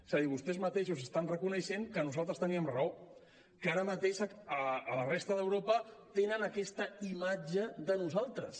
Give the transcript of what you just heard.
és a dir vostès mateixos estan reconeixent que nosaltres teníem raó que ara mateix a la resta d’europa tenen aquesta imatge de nosaltres